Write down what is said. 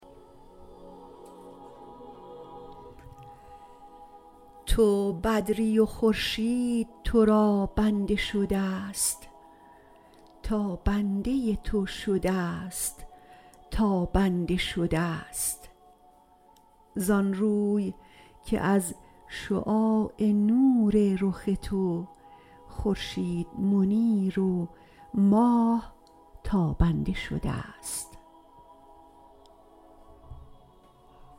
تو بدری و خورشید تو را بنده شده ست تا بنده تو شده ست تابنده شده ست زان روی که از شعاع نور رخ تو خورشید منیر و ماه تابنده شده ست